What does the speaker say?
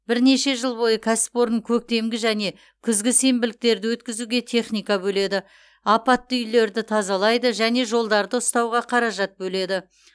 бірнеше жыл бойы кәсіпорын көктемгі және күзгі сенбіліктерді өткізуге техника бөледі апатты үйінділерді тазалайды және жолдарды ұстауға қаражат бөледі